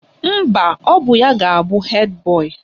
Mba, ọ bụ ya ga-abụ hed boyị